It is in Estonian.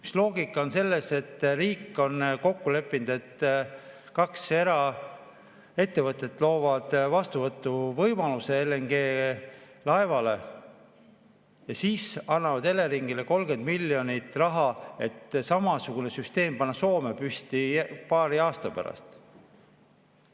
Mis loogika on selles, et riik on kokku leppinud, et kaks eraettevõtet loovad vastuvõtuvõimaluse LNG‑laevale ja siis annavad Eleringile 30 miljonit, et samasugune süsteem panna Soome püsti paari aasta pärast?